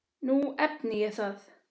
Nú efni ég það.